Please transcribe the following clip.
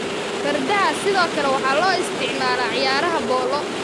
Fardaha sidoo kale waxaa loo isticmaalaa ciyaaraha polo.